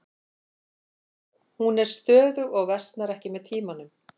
Hún er stöðug og versnar ekki með tímanum.